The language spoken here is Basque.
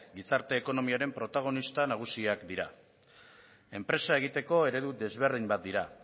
gizarte ekonomiaren protagonista nagusiak dira enpresa egiteko eredu desberdin bat dira